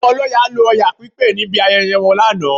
Àwọn ọlọ́ya lo Ọya pípé níbi ayẹyẹ wọn lánàá